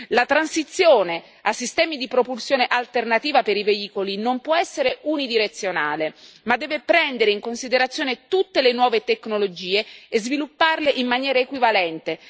La transizione a sistemi di propulsione alternativa per i veicoli non può essere unidirezionale, ma deve prendere in considerazione tutte le nuove tecnologie e svilupparle in maniera equivalente.